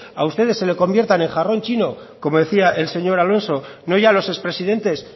a ustedes se le convierta en jarrón chino como decía el señor alonso no ya a los expresidentes